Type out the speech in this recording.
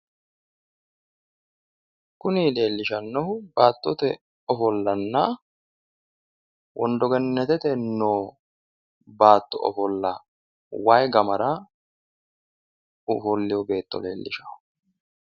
Kuni leellishannohu baattote ofollanna wondogenetete noo baatto ofolla wayi gamira ofollino beetto leellishanno.